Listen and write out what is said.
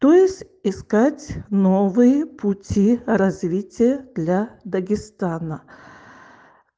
то есть искать новые пути развития для дагестана